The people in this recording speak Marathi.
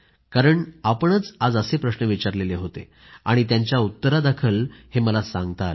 कारण आपणच आज असे प्रश्न विचारले होते त्यांच्या उत्तरादाखल हे मला सांगता आले